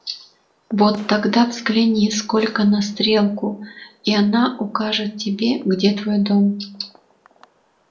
вот тогда взгляни сколько на стрелку и она укажет тебе где твой дом